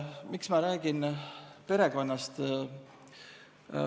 Miks ma räägin perekonnast?